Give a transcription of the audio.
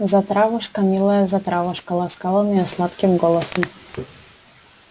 затравушка милая затравушка ласкал он её сладким голосом